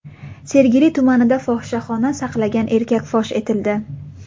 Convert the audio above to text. Sergeli tumanida fohishaxona saqlagan erkak fosh etildi.